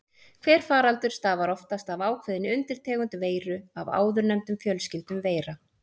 Hver faraldur stafar oftast af ákveðinni undirtegund veiru af áðurnefndum fjölskyldum veira.